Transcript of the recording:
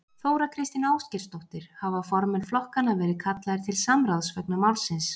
Þóra Kristín Ásgeirsdóttir: Hafa formenn flokkanna verið kallaðir til samráðs vegna málsins?